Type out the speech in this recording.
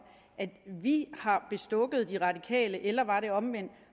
at vi har bestukket de radikale eller var det omvendt